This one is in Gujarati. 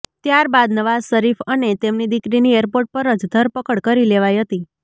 ત્યારબાદ નવાઝ શરીફ અને તેમની દીકરીની એરપોર્ટ પર જ ધરપકડ કરી લેવાઇ હતી